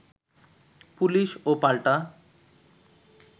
police ও পাল্টা